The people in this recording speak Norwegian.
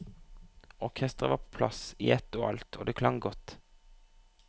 Orkestret var på plass i ett og alt, og det klang godt.